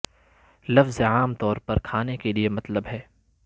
لفظ عام طور پر کھانے کے لئے مطلب ہے